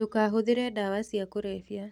ndũkahũthĩre dawa cia kũrebia